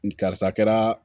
N karisa kɛra